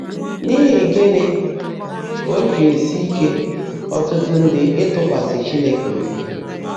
N’íhí gị́ní kà ó jị́ èsi íke ọ́tụ́tụ́ ndị́ ị́tụ́kwasị́ Chínekè óbí?